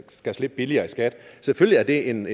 skal slippe billigere i skat selvfølgelig er det en